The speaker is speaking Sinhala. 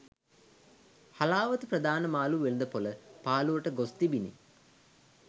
හලාවත ප්‍රධාන මාළු වෙළද පොළ පාලුවට ගොස් තිබිණි